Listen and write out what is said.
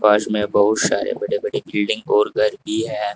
पास में बहुत सारे बड़े बड़े बिल्डिंग और घर भी है।